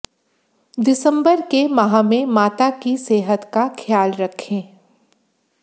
दिसम्बर के माह में माता की सेहत का ख्याल रखें